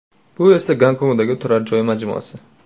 Bu esa Gonkongdagi turar joy majmuasi.